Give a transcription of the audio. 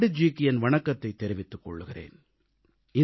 நான் பண்டித்ஜிக்கு என் வணக்கத்தைத் தெரிவித்துக் கொள்கிறேன்